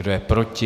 Kdo je proti?